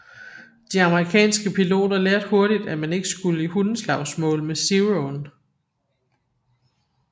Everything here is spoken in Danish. De amerikanske piloter lærte hurtigt at man ikke skulle i hundeslagsmål med Zeroen